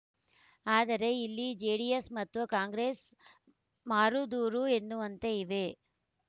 ಆದರೆ ಇಲ್ಲಿ ಜೆಡಿಎಸ್‌ ಮತ್ತು ಕಾಂಗ್ರೆಸ್‌ ಮಾರುದೂರ ಎನ್ನುವಂತೆ ಇವೆ